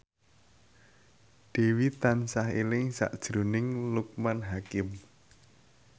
Dewi tansah eling sakjroning Loekman Hakim